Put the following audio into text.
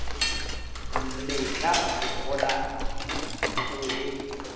mmetla o kgola o e